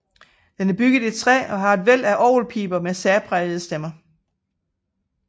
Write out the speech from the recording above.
Det er bygget i træ og har et væld af orgelpiber med særprægede stemmer